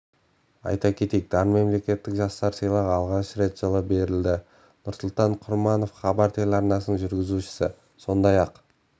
айта кетейік дарын мемлекеттік жастар сыйлығы алғаш рет жылы берілді нұрсұлтан құрманов хабар телеарнасының жүргізушісі сондай-ақ